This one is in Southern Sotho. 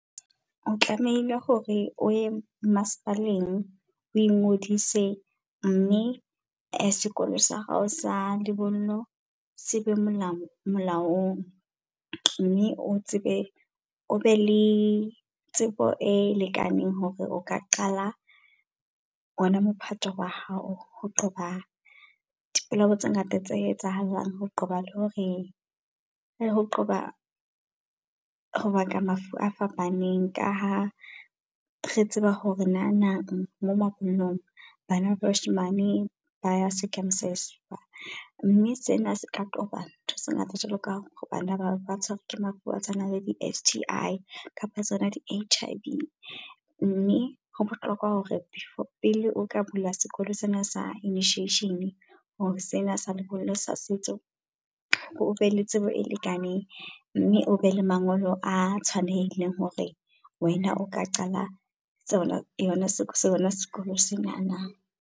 O tlamehile hore o ye masepaleng oi ngodise mme sekolo sa hao sa lebollo sebe molao molaong. Mme o tsebe o be le tsebo e lekaneng hore o ka qala ona mophato wa hao. Ho qoba di polao tse ngata tse etsahalang ho qoba le hore ho qoba ho baka mafu a fapaneng. Ka ha re tseba hore nanang mo mabollong bana ba bashimane ba ya circumcise-wa. Mme sena se ka qoba ntho tse ngata jwalo ka bana bana ba tshwarwe ke mafu a tshwanang le di-S_T_I. Kapa tsona di H_I_V. Mme ho bohlokwa hore before pele o ka bula sekolo sena sa initiation or sena sa lebollo sa setso o be le tsebo e lekaneng. Mme o be le mangolo a tshwanehileng hore wena o ka qala tsona yona sekolo se nana.